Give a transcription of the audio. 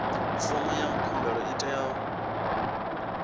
fomo ya khumbelo i tea